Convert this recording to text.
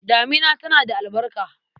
Damina tana da albarka.